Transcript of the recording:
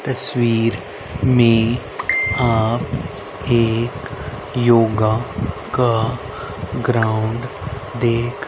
इस तस्वीर में आप एक योगा का ग्राउंड देख--